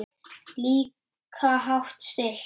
Líka hátt stillt.